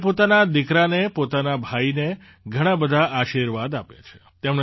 તેમણે પોતાના દીકરાને પોતાના ભાઈને ઘણા બધા આશીર્વાદ આપ્યા છે